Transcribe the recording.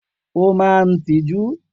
O maa n tiju.